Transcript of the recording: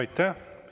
Aitäh!